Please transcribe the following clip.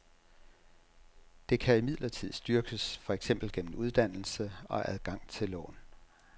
Det kan imidlertid styrkes, for eksempel gennem uddannelse og adgang til lån.